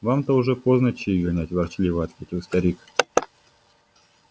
вам-то уже поздно чаи гонять ворчливо ответил старик